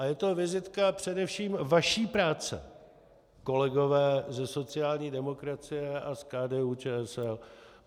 A je to vizitka především vaší práce, kolegové ze sociální demokracie a z KDU-ČSL.